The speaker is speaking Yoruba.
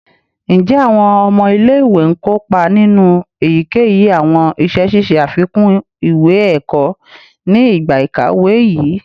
Njẹ awọn ọmọ ile-iwe n kopa ninu eyikeyi awọn iṣẹ ṣiṣe afikun iwe-ẹkọ ni igba ikawe yii?